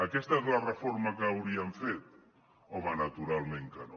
aquesta és la reforma que hauríem fet home naturalment que no